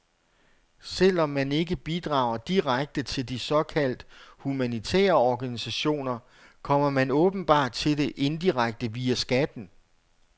Selv om man ikke bidrager direkte til de såkaldt humanitære organisationer, kommer man åbenbart til det indirekte via skatten.